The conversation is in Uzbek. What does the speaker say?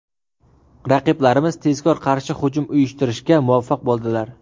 Raqiblarimiz tezkor qarshi hujum uyushtirishga muvaffaq bo‘ldilar.